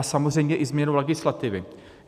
A samozřejmě i změnu legislativy.